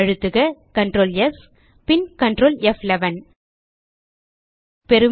அழுத்துக Ctrl ஸ் பின் Ctrl ப்11